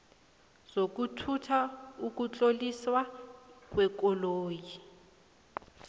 zokuthutha ukutloliswa kwekoloyi